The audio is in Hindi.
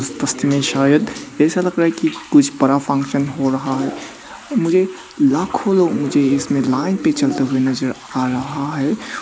में शायद ऐसा लग रहा है कि कुछ बड़ा फंक्शन हो रहा है और मुझे लाखों लोग मुझे लाइन में चलते हुए नजर आ रहा है।